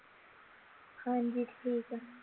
ਹਾਂਜੀ ਠੀਕ ਆ